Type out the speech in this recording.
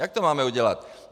Jak to máme udělat?